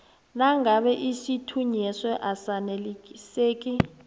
nakube isithunyweso asaneliseki